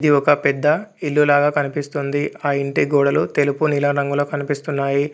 ఇది ఒక పెద్ద ఇల్లు లాగా కనిపిస్తుంది ఆ ఇంటి గోడలు తెలుపు నీలం రంగులో కనిపిస్తున్నాయి.